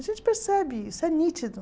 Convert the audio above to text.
A gente percebe isso, é nítido.